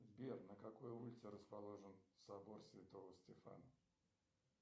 сбер на какой улице расположен собор святого стефана